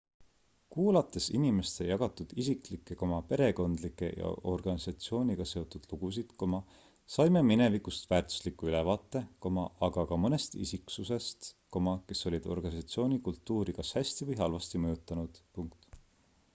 kuulates inimeste jagatud isiklikke perekondlikke ja organisatsiooniga seotud lugusid saime minevikust väärtusliku ülevaate aga ka mõnest isiksusest kes olid organisatsiooni kultuuri kas hästi või halvasti mõjutanud